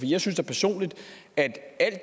jeg synes da personligt at